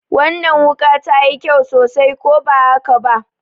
Wannan wuƙa ta yi kyau sosai, ko ba haka ba?